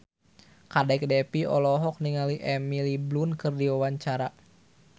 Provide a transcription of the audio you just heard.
Kadek Devi olohok ningali Emily Blunt keur diwawancara